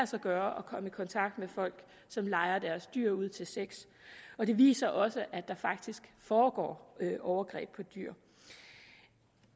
sig gøre at komme i kontakt med folk som lejer deres dyr ud til sex og det viser også at der faktisk foregår overgreb på dyr